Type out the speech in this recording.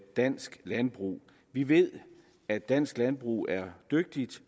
dansk landbrug vi ved at dansk landbrug er dygtigt